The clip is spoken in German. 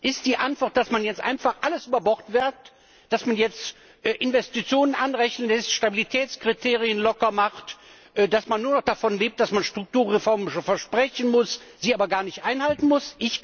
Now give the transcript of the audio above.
Ist die Antwort, dass man jetzt einfach alles über Bord wirft, dass man jetzt Investitionen anrechnen lässt, Stabilitätskriterien locker macht, dass man nur noch davon lebt, dass man Strukturreformen versprechen muss, sie aber gar nicht einhalten muss?